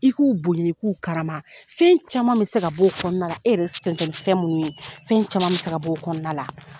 I k'u i k'u karama fɛn caman bɛ se ka bɔ o kɔnɔna la e yɛrɛ ni fɛn minnu ye fɛn caman bɛ se ka bɔ o kɔnɔna la.